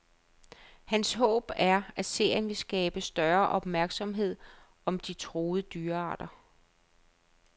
Hans håb er, at serien vil skabe større opmærksomhed om de truede dyrearter.